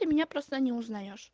и меня просто не узнаешь